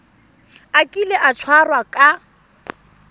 a kile a tshwarwa ka